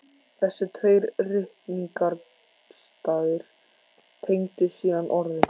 Þessir tveir ritningarstaðir tengdust síðan orðum